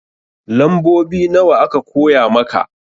Lambobi nawa aka koya maka?